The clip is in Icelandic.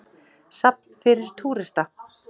Safn fyrir túrista.